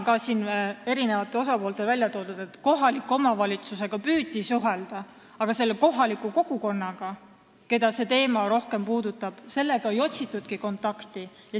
Ka siin tõid eri osapooled välja, et kohaliku omavalitsusega püüti suhelda, aga kohaliku kogukonnaga, keda see teema rohkem puudutab, ei otsitudki kontakti.